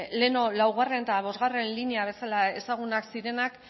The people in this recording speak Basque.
lehengo laugarren eta bosgarren lineak bezala ezagunak zirenak